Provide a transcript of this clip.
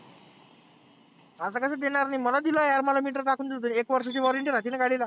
आसं कसं देणार नाही, मला दिलं यार मला meter टाकुन दुसरी एक वर्षाची warranty राहतेना गाडीला.